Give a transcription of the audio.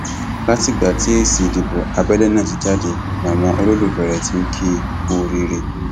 látìgbà tí èsì ìdìbò abẹlé náà ti jáde làwọn olólùfẹ rẹ tí n kì í kú oríire